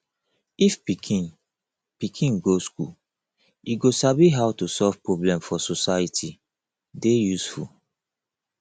if pikin pikin go school e go sabi how to solve problem for society dey useful